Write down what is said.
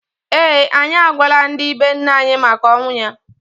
ee, anyị agwala ndị be nne anyi maka ọnwụ ya.